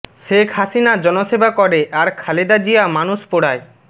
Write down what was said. শেখ হাসিনা জনসেবা করে আর খালেদা জিয়া মানুষ পোড়ায়